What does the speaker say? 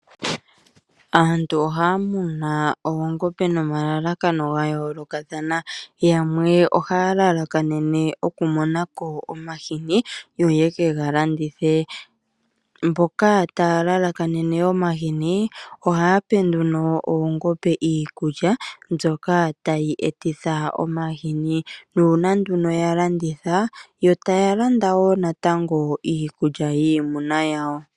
Aantu ohaamunu oongombe nomalalakano gayolokathana yamwe ohaalalakanene okumona ko omahini ngoka ha yeke galanditha. Mboka yena elalakano lyoku alanditha omahini aahape oongombe iikulya mbyoka tayi etitha omahini nuuna ngele yalanditha yo taalanda natango iikulya yiimuna yawo.